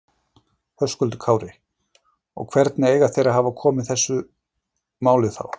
Höskuldur Kári: Og hvernig eiga þeir að hafa komið að þessu máli þá?